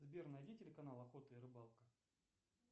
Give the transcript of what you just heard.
сбер найди телеканал охота и рыбалка